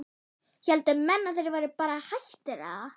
héldu menn að þeir væru bara hættir eða?